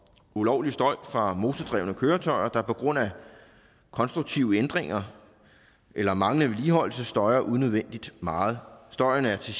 ulovlig støj fra motordrevne køretøjer der på grund af konstruktive ændringer eller manglende vedligeholdelse støjer unødvendigt meget støjen er til